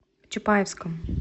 чапаевском